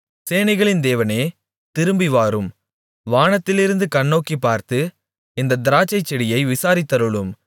சேனைகளின் தேவனே திரும்பி வாரும் வானத்திலிருந்து கண்ணோக்கிப்பார்த்து இந்தத் திராட்சைச்செடியை விசாரித்தருளும்